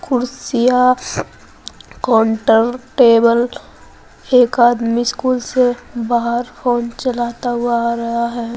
कुर्सियां counter table एक आदमी स्कूल से बाहर फोन चलाता हुआ आ रहा है।